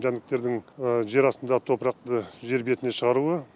жәндіктердің жер астындағы топырақты жер бетіне шығаруы